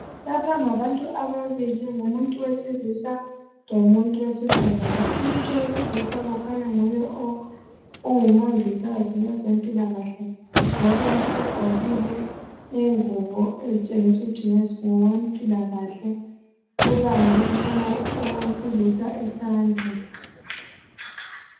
lapha ngabantu ababili ngumuntu wesilisa lomuntu wesifazana umuntu wesilisa kukhanya nguye ongumongikazi kwezempilakahle ngoba u ugqokile ingubo ezitshengisa ukuthi ngowempilakahle ubambe lowo owesilisa isandla